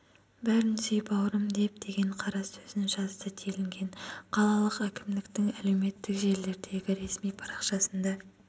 бәрін сүй бауырым деп деген қара сөзін жазды делінген қалалық әкімдіктің әлеуметтік желілердегі ресми парақшасында